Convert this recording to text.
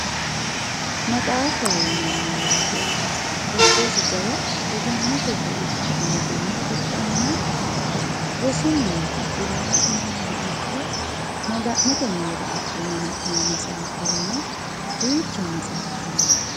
maxaafaho yinanni woyiite giddosi jawa egennnote buicho amadinoha ikkanna rosu miniri axxine hanaayiihano ikko maga'note mine axxine hanayii maxaafa yine duucha maxaafa no.